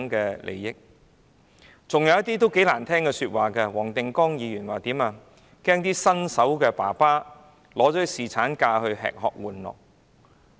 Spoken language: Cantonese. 還有一些議員說出很難聽的話，例如，黃定光議員說："恐怕新手爸爸會利用侍產假吃喝玩樂"。